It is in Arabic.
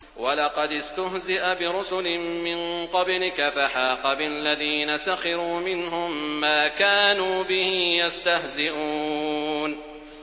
وَلَقَدِ اسْتُهْزِئَ بِرُسُلٍ مِّن قَبْلِكَ فَحَاقَ بِالَّذِينَ سَخِرُوا مِنْهُم مَّا كَانُوا بِهِ يَسْتَهْزِئُونَ